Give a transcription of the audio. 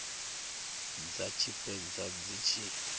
dza tshi fhedza dzi tshi